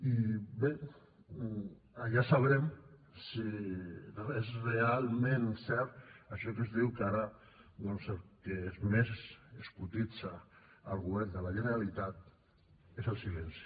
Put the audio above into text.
i bé allà sabrem si és realment cert això que es diu que ara doncs el que més es cotitza al govern de la generalitat és el silenci